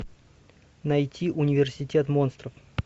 найти университет монстров